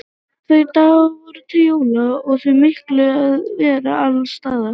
Tveir dagar voru til jóla og því mikið um að vera alls staðar.